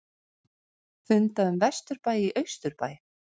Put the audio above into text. Funda um vesturbæ í austurbæ